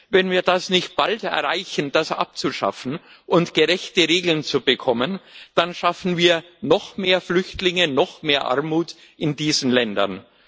Wenn wir es nicht bald erreichen, das abzuschaffen und gerechte Regeln zu bekommen, dann schaffen wir noch mehr Flüchtlinge, noch mehr Armut in diesen Ländern.